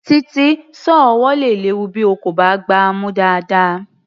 Títí, sọ́ọ̀ ọwọ́ le ní ewu bí o kò bá gbá a mú dáadáa.